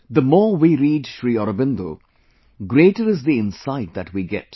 The more we read Sri Aurobindo, greater is the insight that we get